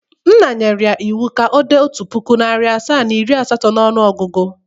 Nna nyere ya iwu ka o de otu puku, nari asaa, iri asato n' ọnụogugu!